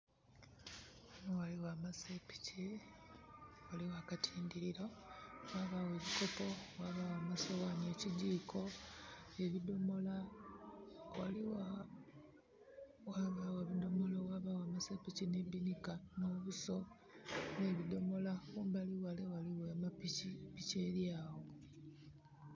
Ghano ghaliwo amasepiki , ghaliwo akatindiriro ghabawo ebikkoppo ghabagho amasowani ekijikko ebidomola. Ghaliwo, ghabawo ebidomolo amasepiki ne binika no buuso ne bidomola. Kumbali wale waliwo amapiki. Piki eryawo